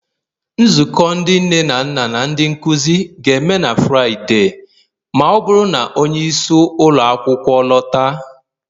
Nzukọ ndị nne na nna na ndị nkuzi ga-eme na Fraịde, ma ọ bụrụ na onye isi ụlọ akwụkwọ lọta